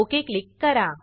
okay click करा